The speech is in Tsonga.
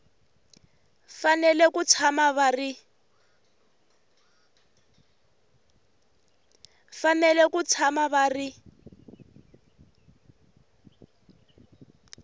fanele ku tshama va ri